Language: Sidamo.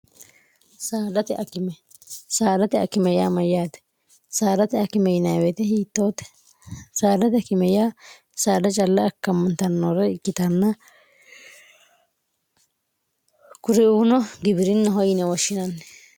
saarate akimeyyaa mayyaate saarate akime inwete hiittoote saadati akime yaa saada calla akkammantannoora ikkitanna kuriuuno gibi'rinna hoyine washshinanni